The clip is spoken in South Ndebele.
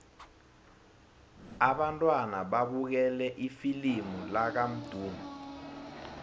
abantwana babukele ifilimu lakamdu